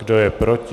Kdo je proti?